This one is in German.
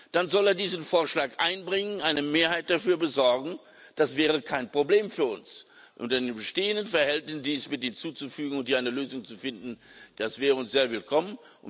dann soll er diesen Vorschlag einbringen, eine Mehrheit dafür besorgen. Das wäre kein Problem für uns unter den bestehenden Verhältnissen, dies möchte ich hinzufügen und hier eine Lösung zu finden, das wäre uns sehr willkommen.